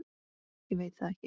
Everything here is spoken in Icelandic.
Ég veit það ekki!